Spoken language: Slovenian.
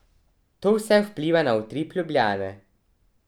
To vse vpliva na utrip Ljubljane.